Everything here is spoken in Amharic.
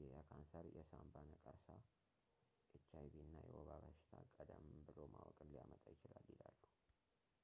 ይህ የካሰር የንሳባ ነቀርሳ hiv እና የወባ በሽታ ቀደም ብሎ ማወቅን ሊያመጣ ይችላል ይላሉ